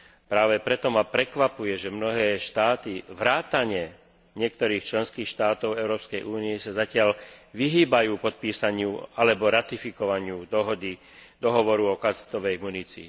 Práve preto ma prekvapuje, že mnohé štáty vrátane niektorých členských štátov Európskej únie sa zatiaľ vyhýbajú podpísaniu alebo ratifikovaniu Dohovoru o kazetovej munícii.